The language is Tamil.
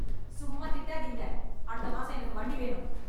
சும்மா திட்டாதீங்க. அடுத்த மாசம் எனக்கு வண்டி வேணும்.